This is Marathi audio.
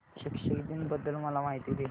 शिक्षक दिन बद्दल मला माहिती दे